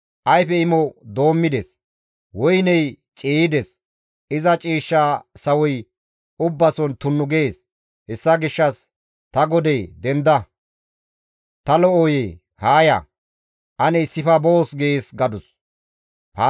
Balasey ayfe imo doommides; woyney ciiyides; iza ciishsha sawoy ubbason tunnu gees. Hessa gishshas ta godee, Denda; ta lo7oyee! Haa ya; ane issife boos› gees» gadus.